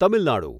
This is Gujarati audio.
તમિલ નાડુ